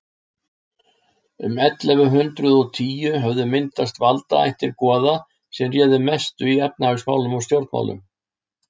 um ellefu hundrað og tíu höfðu myndast valdaættir goða sem réðu mestu í efnahagsmálum og stjórnmálum